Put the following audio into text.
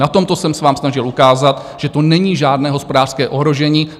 Na tomto jsem se vám snažil ukázat, že to není žádné hospodářské ohrožení.